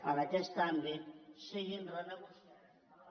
en aquest àmbit siguin renegociats a la baixa